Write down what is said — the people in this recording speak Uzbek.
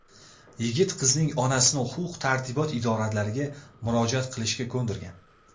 Yigit qizning onasini huquq-tartibot idoralariga murojaat qilishga ko‘ndirgan.